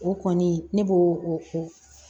O kɔni ne b'o o